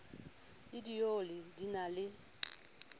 le dioli di na le